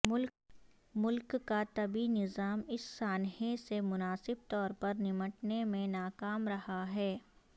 ملک کا طبی نظام اس سانحے سے مناسب طور پر نمٹنے میں ناکام رہا ہے